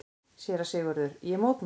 SÉRA SIGURÐUR: Ég mótmæli!